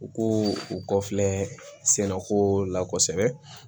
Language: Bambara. U ko u kɔ filɛ sɛnɛko la kosɛbɛ